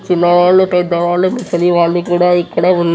చిన్న వాళ్ళు పెద్ద వాళ్ళు ముసలి వాళ్ళు కూడా ఇక్కడే ఉన్న --